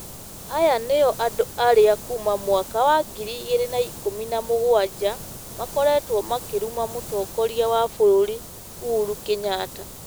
Aya nũũo andũ arĩa kuuma mwaka wa ngiri igĩrĩ na ikũmi na mũgwanja makoretwo makĩruma mũtongoria wa bũrũri Uhuru Kenyatta.